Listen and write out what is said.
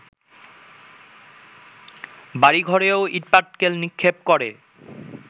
বাড়িঘরেও ইটপাটকেল নিক্ষেপ করে